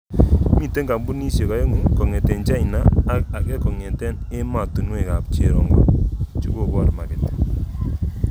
Mite kampunidiek aengu kongete China ak ake kongete ematunwek ab cherongo chekobor maket.